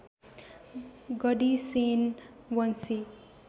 गढी सेन वंशी